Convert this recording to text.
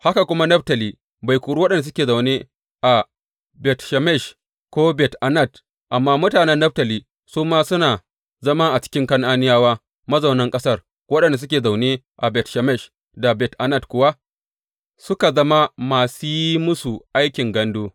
Haka kuma Naftali bai kori waɗanda suke zaune a Bet Shemesh ko Bet Anat; amma mutanen Naftali su ma suna zama a ciki Kan’aniyawa mazaunan ƙasar, waɗanda suke zaune a Bet Shemesh da Bet Anat kuwa suka zama masu yi musu aikin gandu.